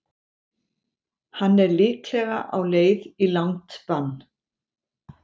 Hann er líklega á leið í langt bann.